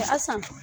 A san